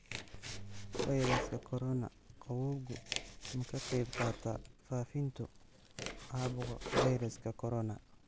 Fayraska Corona: Qabowgu ma ka qayb qaataa fafintu caabuqa fayraska corona?